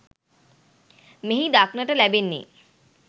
මෙහි දක්නට ලැබෙන්නේ